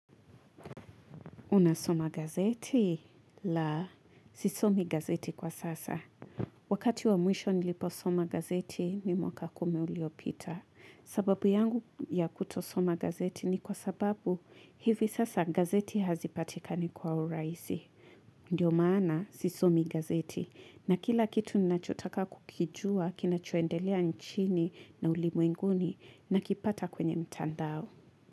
Unasoma gazeti? La, sisomi gazeti kwa sasa. Wakati wa mwisho nilipo soma gazeti, ni mwaka kumi uliopita. Sababu yangu ya kutosoma gazeti ni kwa sababu hivi sasa gazeti hazipatikani kwa urahisi. Ndiyo maana, sisomi gazeti. Na kila kitu ninachotaka kukijua, kinacho endelea nchini na ulimwenguni, nakipata kwenye mtandao.